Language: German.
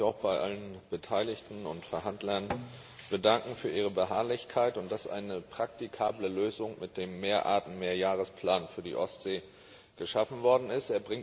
Ich möchte mich auch bei allen Beteiligten und Verhandlern bedanken für ihre Beharrlichkeit und dafür, dass eine praktikable Lösung mit dem Mehrarten Mehrjahresplan für die Ostsee geschaffen worden ist.